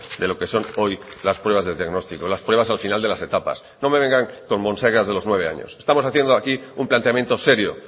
de lo que son hoy las pruebas de diagnóstico las pruebas al final de las etapas no me vengan con monsergas de los nueve años estamos haciendo aquí un planteamiento serio